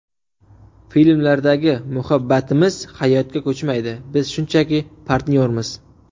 Filmlardagi ‘Muhabbatimiz’ hayotga ko‘chmaydi, biz shunchaki partnyormiz”.